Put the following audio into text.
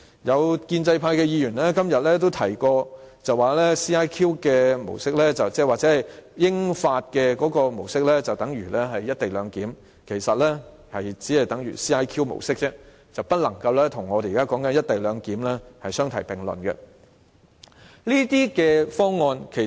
有建制派議員今天也提及 ，CIQ 模式或英法模式等於"一地兩檢"，其實這只是等於 CIQ 模式而已，不能與我們現時討論的"一地兩檢"相提並論。